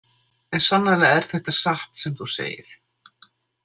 En sannarlega er þetta satt sem þú segir.